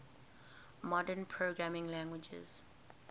modern programming languages